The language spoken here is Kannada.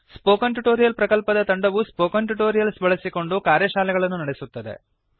ಸ್ಪೋಕನ್ ಟ್ಯುಟೋರಿಯಲ್ ಪ್ರಕಲ್ಪದ ತಂಡವು ಸ್ಪೋಕನ್ ಟ್ಯುಟೋರಿಯಲ್ಸ್ ಬಳಸಿಕೊಂಡು ಕಾರ್ಯಶಾಲೆಗಳನ್ನು ನಡೆಸುತ್ತದೆ